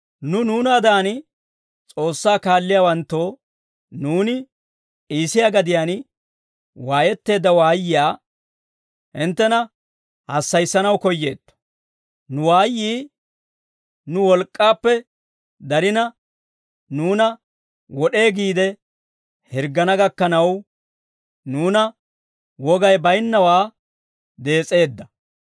Nu nuunaadan S'oossaa kaalliyaawanttoo, nuuni Iisiyaa gadiyaan waayetteedda waayiyaa hinttena hassayissanaw koyyeetto; nu waayyii nu wolk'k'aappe darina, nuuna wod'ee giide, hirggana gakkanaw, nuuna wogay bayinnawaa dees's'eedda.